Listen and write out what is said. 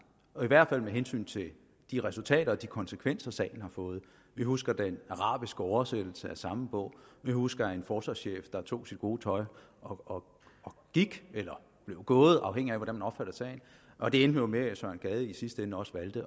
i hvert fald med hensyn til de resultater og de konsekvenser sagen har fået vi husker den arabiske oversættelse af samme bog vi husker en forsvarschef der tog sit gode tøj og gik eller blev gået afhængigt af hvordan man opfatter sagen og det endte jo med at søren gade i sidste ende også valgte